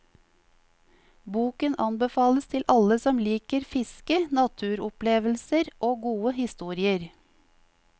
Boken anbefales til alle som liker fiske, naturopplevelser og gode historier.